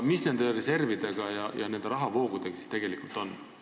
Mis nende reservidega ja nende rahavoogudega siis tegelikult on?